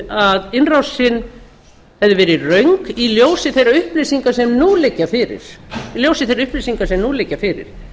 að innrásin hefði verið röng í ljósi þeirra upplýsinga sem nú liggja fyrir